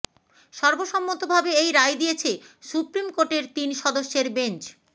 সর্বসম্মতভাবে এই রায় দিয়েছে সুপ্রিম কোর্টের তিন সদস্যের বেঞ্চ